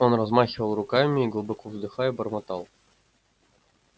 он размахивал руками и глубоко вздыхая бормотал